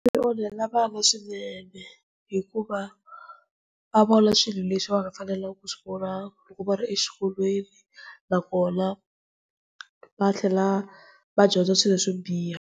Swi onhela vana swinene hikuva va vona swilo leswi va nga fanelangiku ku swivona loko va ri exikolweni nakona va tlhela va dyondza swilo swo biha.